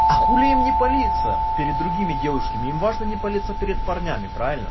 а хули им не палиться перед другими девушками им важно не палиться перед парнями правильно